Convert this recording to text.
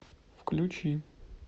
включи